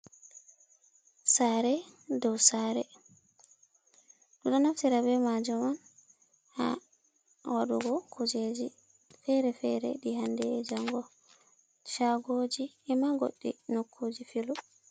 Saare dow saare, du ɗo naftira be majum on ha wadugo kujeji fere-fere ɗi hande jango, shagoji e'ma goɗɗi nokkuji filu.